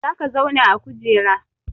Za ka zauna a kujera!